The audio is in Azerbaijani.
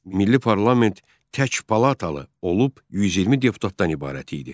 Milli parlament tək palatalı olub 120 deputatdan ibarət idi.